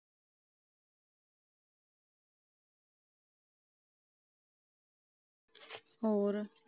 ਹੋਰ